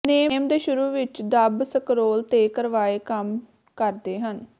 ਨੇਮ ਦੇ ਸ਼ੁਰੂ ਵਿੱਚ ਦਬ ਸਕਰੋਲ ਤੇ ਕਰਵਾਏ ਕੰਮ ਕਰਦੇ ਹਨ